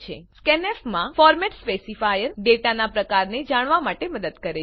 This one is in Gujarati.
scanf માં ફોર્મેટ સ્પેસિફાયર ડેટાનાં પ્રકારને જાણવા માટે મદદ કરે છે